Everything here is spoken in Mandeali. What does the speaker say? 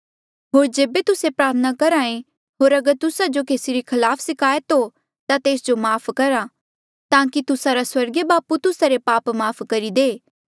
होर जेबे तुस्से प्रार्थना करहा ऐें होर अगर तुस्सा जो केसी रे खलाफ सिकायत हो ता तेस जो माफ़ करा ताकि तुस्सा रा स्वर्गीय बापू तुस्सा रे पाप माफ़ करी दे